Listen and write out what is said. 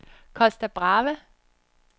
Costa Brava